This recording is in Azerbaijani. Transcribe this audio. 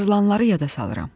Yazılanları yada salıram.